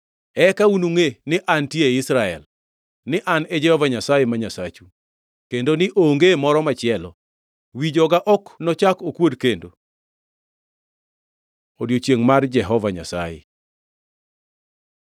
Eka unungʼe ni antie ei Israel, ni An e Jehova Nyasaye, ma Nyasachu, kendo ni onge moro machielo; wi joga ok nochak okuod kendo.” Odiechiengʼ mar Jehova Nyasaye